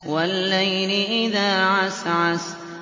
وَاللَّيْلِ إِذَا عَسْعَسَ